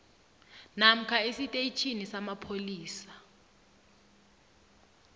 namkha esitetjhini samapholisa